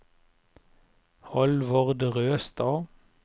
Hallvard Røstad